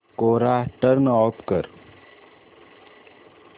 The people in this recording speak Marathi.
कोरा टर्न ऑफ कर